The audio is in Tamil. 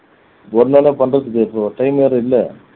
ஒருநாள் தான் பண்றதுக்கு இருக்கு time வேற இல்ல